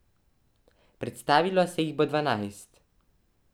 Predstavilo se jih bo dvanajst.